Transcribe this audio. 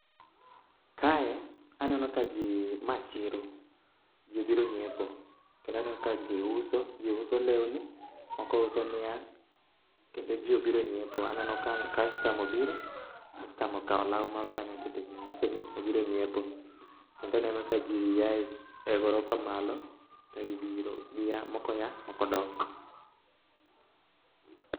Kae aneno ka ji, ma chiro, ji obiro nyiepo. Kendo aneno ka ji uso, ji uso lewni moko uso niang'. Kendo ji obiro nyiepo, aneno ka kastama obiro, kastama okawo lawu moro kanyo okete gimni obiro nyiepo. Kendaneno ka ji ae gorofa malo to gibiro, gia moko ya moko dok.